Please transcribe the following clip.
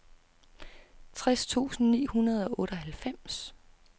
tres tusind ni hundrede og otteoghalvfems